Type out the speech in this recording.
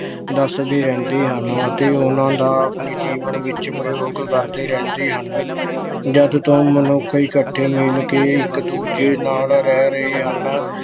ਦੱਸਦੇ ਰਹਿੰਦੇ ਹਨ ਅਤੇ ਉਹਨਾਂ ਦਾ ਆਪਣੇ ਜੀਵਨ ਵਿੱਚ ਪ੍ਰਯੋਗ ਕਰਦੇ ਰਹਿੰਦੇ ਹਨ। ਜਦ ਤੋਂ ਮਨੁੱਖ ਇੱਕਠੇ ਮਿਲ ਕੇ ਇੱਕ ਦੂਜੇ ਨਾਲ ਰਹਿ ਰਹੇ ਹਨ